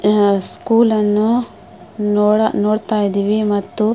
ಆ ಸ್ಕೂಲ್ ಅನ್ನು ನೋಡ ನೋಡತ್ತಾ ಇದ್ದಿವಿ.